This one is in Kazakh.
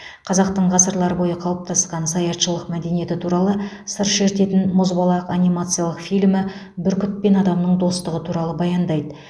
қазақтың ғасырлар бойы қалыптасқан саятшылық мәдениеті туралы сыр шертетін мұзбалақ анимациялық фильмі бүркіт пен адамның достығы туралы баяндайды